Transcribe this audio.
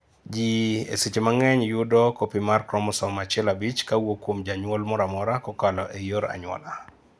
jii ei seche mang'eny yudo copy mar chromosome 15 kawuok kuom janyuol moramora kokalo ei yor anyuola